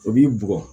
O b'i bugɔ